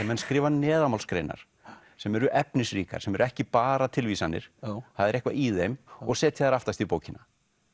menn skrifa neðanmálsgreinar sem eru efnisríkar sem eru ekki bara tilvísanir það er eitthvað í þeim og setja þær aftast í bókina